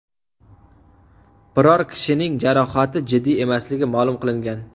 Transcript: Biror kishining jarohati jiddiy emasligi ma’lum qilingan.